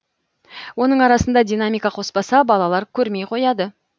оның арасында динамика қоспаса балалар көрмей қояды